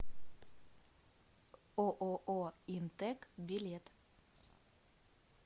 ооо интек билет